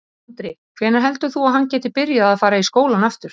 Andri: Hvenær heldur þú að hann geti byrjað að fara í skólann aftur?